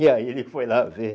E aí ele foi lá ver.